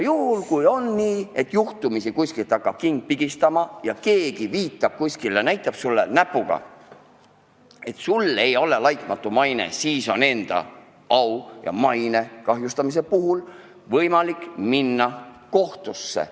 Ja kui on nii, et juhtumisi kuskilt hakkab king pigistama ja keegi näitab sulle näpuga, et sul ei ole laitmatu maine, siis on oma au ja maine kahjustamise pärast võimalik minna kohtusse.